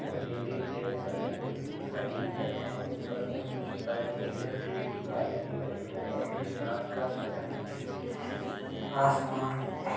और ladies gents अपने दिख रहे है और उपर में कुछ साइड में दिखाई दे रही है और ये रात का समय है। आसमान --